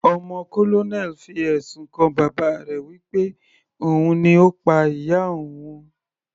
Ọmọ colonel fi ẹ̀sùn kan bàbá rẹ̀ wí pé òun ni Ó pa ìyá òun.